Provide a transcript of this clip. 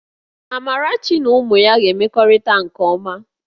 Amarachi na ụmụ ya ga-emekọrịta nke ọma